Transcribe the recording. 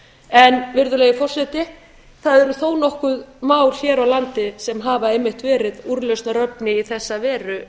en virðulegi forseti það eru þó nokkur mál hér á landi sem hafa einmitt verið úrlausnarefni í þessa veru